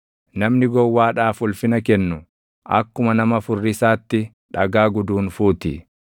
Namni gowwaadhaaf ulfina kennu, akkuma nama furrisaatti dhagaa guduunfuu ti.